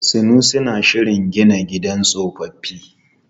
Sanusi na shirin gina gidan tsofaffi.